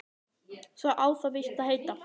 Svo á það víst að heita